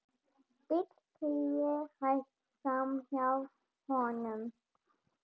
Bíll keyrði hægt framhjá honum.